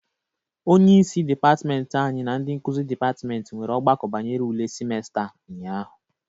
Onyeisi dịpatịmentị anyị na ndị nkuzi dịpatịmentị nwere ọgbakọ banyere ule simesta a ụnyaahụ